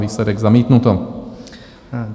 Výsledek: zamítnuto.